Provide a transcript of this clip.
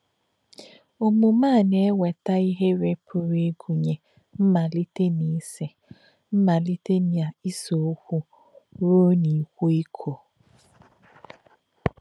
Ọ̀mùmè̄ ā̄ nā̄-èwètà̄ ìhè̄rè̄ pụ̀rụ́ ìgụ̀nyè̄ màlítè̄ n’ísè̄ màlítè̄ n’ísè̄ ọ̀kwú̄ rụ̀ọ̀ n’íkwọ́ ìkò̄.